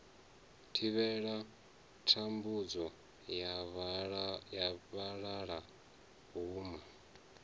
thivhela thambudzo ya vhalala huna